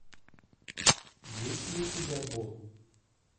есть ли у тебя бо